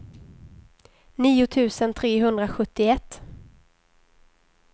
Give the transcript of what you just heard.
nio tusen trehundrasjuttioett